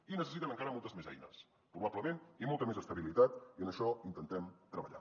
i necessiten encara moltes més eines probablement i molta més estabilitat i en això intentem treballar